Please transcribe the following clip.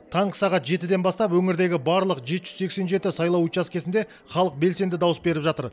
таңғы сағат жетіден бастап өңірдегі барлық жеті жүз сексен жеті сайлау учаскесінде халық белсенді дауыс беріп жатыр